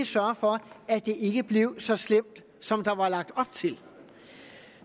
sørge for at det ikke blev så slemt som der var lagt op til